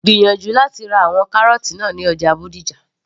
gbìyànjú láti ra àwọn kárọ́ọ́tì náà ní ọjà Bódìjà